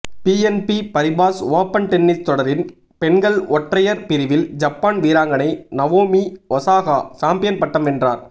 PNB Paribas open tennis தொடரில் பெண்கள் ஒற்றையர் பிரிவில் ஜப்பான் வீராங்கனை நவோமி ஒசாகா சாம்பியன் பட்டம் வென்றார்